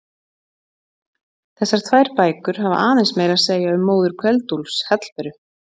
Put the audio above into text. Þessar tvær bækur hafa aðeins meira að segja um móður Kveld-Úlfs, Hallberu.